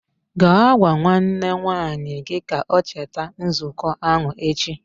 Gaa gwa nwanne nwaanyị gi ka o cheta nzuko ahụ echi!